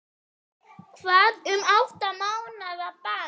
Hvað um átta mánaða bann?